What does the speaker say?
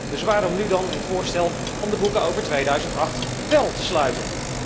Dus waarom nu dan het voorstel om de boeken over 2008 wel te sluiten?